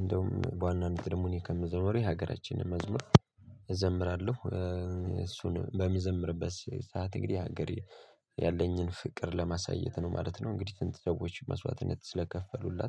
እንደውም በዋናነት ደግሞ እኔ ከመዘመሩ የሀገራችንን መዝሙር። እዘምራለሁ እሱን በምዘምርበት ሰዓት እግዲህ ለሀገር ያለኝን ፍቅር ለማሳየት ነው ማለት ነው። እንግዲህ ስንት ሰዎች መስዋዕትነት ስለከፈሉላት